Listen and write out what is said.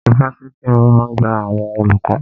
Ifáfitì máa gba àwọn olùkọ́.